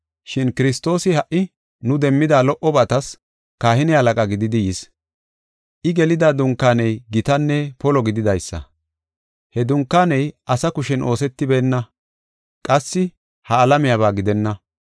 Shin Kiristoosi ha77i nu demmida lo77obatas kahine halaqa gididi yis. I gelida dunkaaney gitanne polo gididaysa. He dunkaaney asa kushen oosetibeenna qassi ha alamiyaba gidenna.